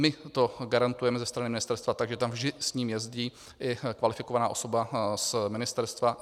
My to garantujeme ze stany ministerstva, takže tam vždy s ním jezdí i kvalifikovaná osoba z ministerstva.